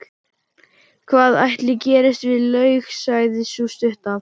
Hvað ætli gerist við laug, sagði sú stutta.